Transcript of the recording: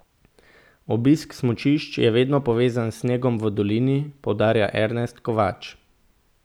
Obisk smučišč je vedno povezan s snegom v dolini, poudarja Ernest Kovač.